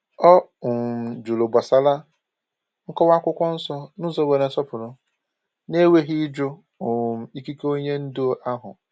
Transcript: O um jụrụ gbasara nkọwa akwụkwọ nsọ n’ụzọ nwere nsọpụrụ, na-enweghị ịjụ um ikike onye ndu ahụ.